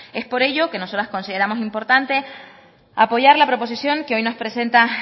es por ello que nosotras consideramos importante apoyar la proposición que hoy nos presenta